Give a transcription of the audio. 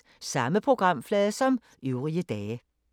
Samme programflade som øvrige dage